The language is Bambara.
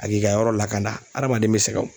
A k'i ka yɔrɔ lakana hadamaden bɛ sɛgɛn o